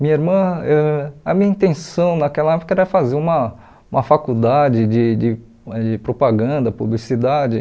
Minha irmã, ãh a minha intenção naquela época era fazer uma uma faculdade de de de propaganda, publicidade.